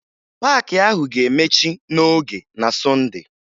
Paakị ahụ ga-emechi n'oge na Sọnde